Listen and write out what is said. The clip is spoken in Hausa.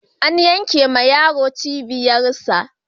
An yankewa yaron cibiyarsa.